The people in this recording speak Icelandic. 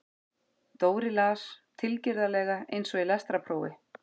Dóri las, tilgerðarlega eins og í lestrarprófi